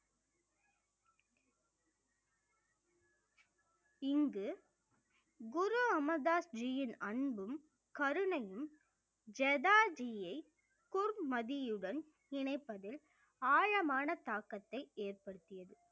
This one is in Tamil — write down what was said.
இங்கு குரு அமர்தாஸ் ஜீயின் அன்பும் கருணையும் ஜதா ஜீயை குர் மதியுடன் இணைப்பதில் ஆழமான தாக்கத்தை ஏற்படுத்தியது